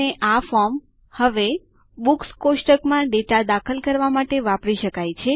અને આ ફોર્મ હવે બુક્સ કોષ્ટક માં ડેટા દાખલ કરવા માટે વાપરી શકાય છે